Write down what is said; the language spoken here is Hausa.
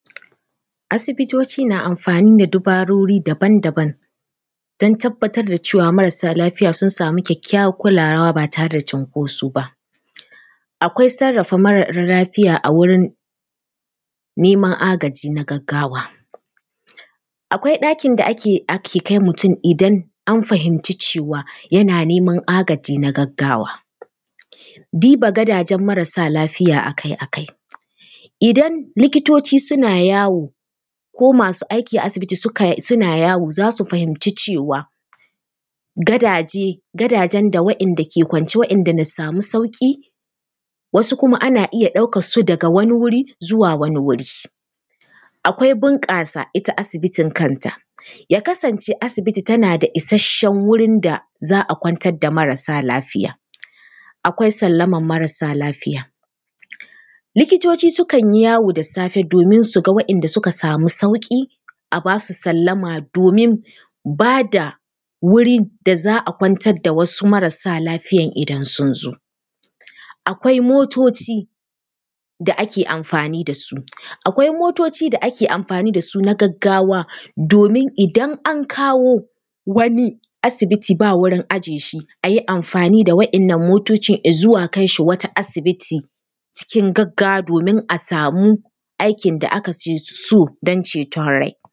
Asibitoci na amfani da dabarori daban daban don tabbatar da cewa marasa lafiya sun samu kyakkyawar kulawa ba tare da cunkoso ba. Akwai sarrafa mara lafiya a wurin neman agaji na gaggawa. Akwai ɗakin da ake kai mutum idan aka fahimci cewa yana neman agaji na gaggawa. Diba gadajen marsa lafiya a kai a kai, idan likitoci suna yawo, ko masu aiki a asbiti suna yawo za su fahimci cewa, gadaje, gadajen da waɗanda ke kwance waɗanda nassamu sauƙi, wasu kuma ana iya ɗaukarsu daga wani wuri zuwa wani wuri. Akwai bunƙasa ita asibitin kanta, ya kasance asibiti tana da isasshen wurin da za a kwantar da marasa lafiya, akwai sallamar marasa lafiya. Likitoci sukan yi yawo da safe domin su ga waɗanda suka samu sauƙi, a ba su sallama domin ba da wuri da za a kwantar da wasu marasa lafiyan idan sun zo. Akwai motoci da ake amfani da su, akwai motoci da ake amfani da su da ake amfani da su na gaggawa domini dan an kawo wani asibiti ba wurin aje shi, a yi amfani da waɗannan motocin i zuwa kai shi wata asibitin cikin gaggawa domin a samu aikin da ake so don ceton rai.